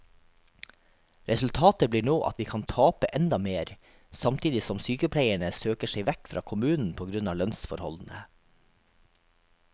Resultatet blir nå at vi kan tape enda mer, samtidig som sykepleierne søker seg vekk fra kommunen på grunn av lønnsforholdene.